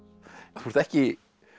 þú ert ekki